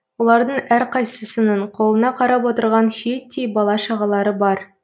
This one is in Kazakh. олардың әрқайсысының қолына қарап отырған шиеттей бала шағалары бар